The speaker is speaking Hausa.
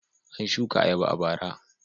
An shuka ayaba a bara.